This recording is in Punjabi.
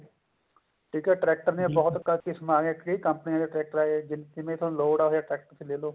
ਠੀਕ ਆ ਟ੍ਰੈਕਟਰਾਂ ਨੇ ਬਹੁਤ ਕਿਸਮਾ ਅਗੀਆਂ ਕਈ ਕੰਪਨੀਆ ਦੇ tractor ਆਗੇ ਜਿਵੇਂ ਥੋਨੂੰ ਲੋੜ ਹੈ ਉਵੇਂ ਦਾ tractor ਤੁਸੀਂ ਲੈਲੋ